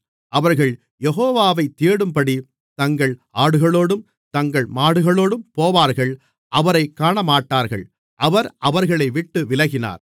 அவர்கள் யெகோவாவை தேடும்படி தங்கள் ஆடுகளோடும் தங்கள் மாடுகளோடும் போவார்கள் அவரைக் காணமாட்டார்கள் அவர் அவர்களை விட்டு விலகினார்